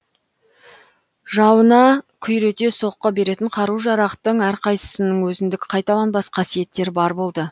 жауына күйрете соққы беретін қару жарақтың әр қайсысының өзіндік қайталанбас қасиеттері бар болды